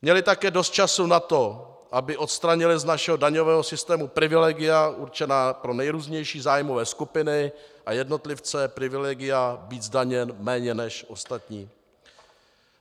Měly také dost času na to, aby odstranily z našeho daňového systému privilegia určená pro nejrůznější zájmové skupiny a jednotlivce, privilegia být zdaněn méně než ostatní.